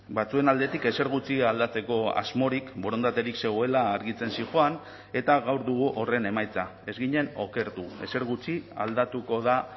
batzuen aldetik ezer gutxi aldatzeko asmorik borondaterik zegoela argitzen zihoan eta gaur dugu horren emaitza ez ginen okertu ezer gutxi aldatuko da